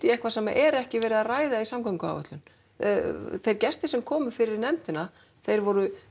eitthvað sem er ekki verið að ræða í samgönguðáætlun þeir gestir sem komu fyrir nefndina þeir voru